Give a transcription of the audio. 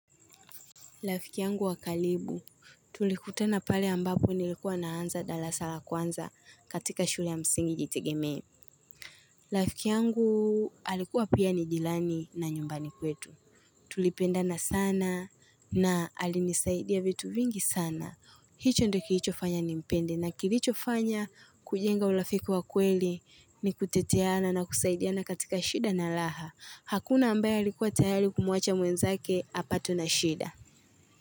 Rafiki yangu wakaribu, tulikutana pale ambapo nilikuwa naanza darasa kwanza katika shule ya msingi jitegeme. Rafiki yangu alikuwa pia ni jirani na nyumbani kwetu. Tulipendana sana na alinisaidia vitu vingi sana. Hicho ndo kilichofanya nimpende na kilicho fanya kujenga urafiki wa kweli ni kuteteana na kusaidiana katika shida na raha. Hakuna ambaye alikuwa tayari kumuacha mwenzake, apatwe na shida.